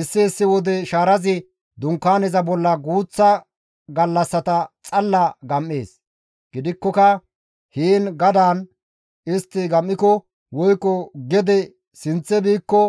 Issi issi wode shaarazi Dunkaaneza bolla guuththa gallassata xalla gam7ees; gidikkoka heen gadaan istti gam7iko woykko gede sinththe biikko